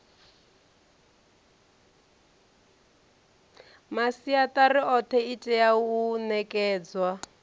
masiatari othe itea u nekedzwa